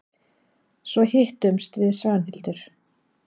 Svo hittumst við Svanhildur.